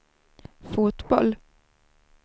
fotboll